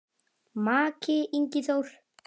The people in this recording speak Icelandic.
Maki, Ingi Þór.